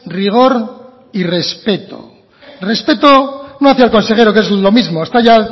rigor y respeto respeto no hacia el consejero que es lo mismo está ya